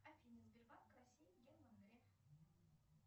афина сбербанк россии герман греф